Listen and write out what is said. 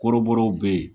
Kɔrɔbɔrɔw be yen